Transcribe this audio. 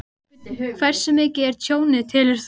Helga Arnardóttir: Hversu mikið er tjónið, telur þú?